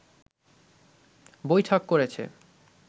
বৈঠক করেছে